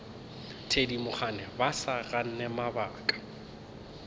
thedimogane ba sa gane mabaka